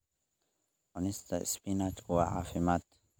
Cunista isbinaajku waa caafimaad.